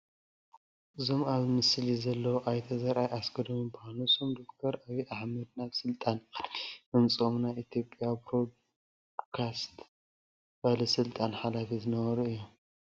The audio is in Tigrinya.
እዞም ኣብዚ ምስሊ ዘለዉ ኣይተ ዘርኣይ ኣስገዶም ይበሃሉ፡፡ ንሶም ዶክተር ኣብዪ ኣሕመድ ናብ ስልጣን ቅድሚ ምውፅኦም ናይ ኢትዮጵያ ብሮድካስት ባለስልጣን ሓላፊ ዝነበሩ እዮም፡፡